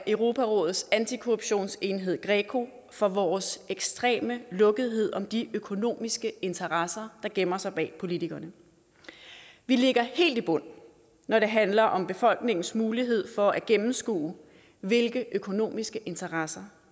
europarådets antikorruptionsenhed greco for vores ekstreme lukkethed om de økonomiske interesser der gemmer sig bag politikerne vi ligger helt i bund når det handler om befolkningens mulighed for at gennemskue hvilke økonomiske interesser